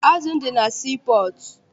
Azụ m dị na sii pọọtụ.